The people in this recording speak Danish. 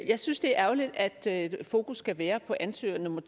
jeg synes det er ærgerligt at fokus skal være på ansøger nummer